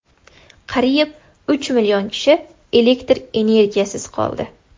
Qariyb uch million kishi elektr energiyasisiz qoldi.